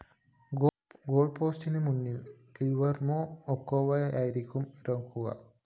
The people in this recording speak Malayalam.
ഗോള്‍പോസ്റ്റിന്‌ മുന്നില്‍ ഗ്വില്ലര്‍മോ ഒക്കോവായായിരിക്കും ഇറങ്ങുക